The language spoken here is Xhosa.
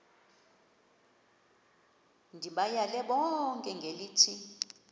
ndibayale bonke ngelithi